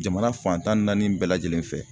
Jamana fan tan ni naani bɛɛ lajɛlen fɛ